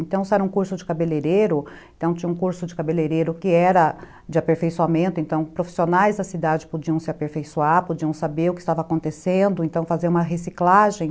Então, se era um curso de cabeleireiro, então tinha um curso de cabeleireiro que era de aperfeiçoamento, então profissionais da cidade podiam se aperfeiçoar, podiam saber o que estava acontecendo, então fazer uma reciclagem.